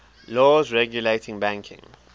laws regulating banking